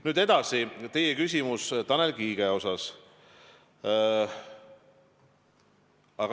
Nüüd edasi teie küsimus Tanel Kiige kohta.